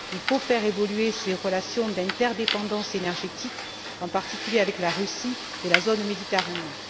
Il faut faire évoluer ces relations d'interdépendance énergétique, en particulier avec la Russie et la zone Méditerranée.